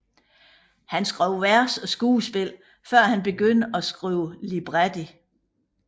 Han skrev vers og skuespil før han begyndte at skrive libretti